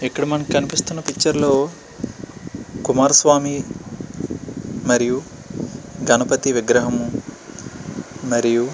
ఇక్కడ మనకి కనిపిస్తున్నా పిక్చర్ లో కుమార స్వామి మరియు గణపతి విగ్రహము మరియు --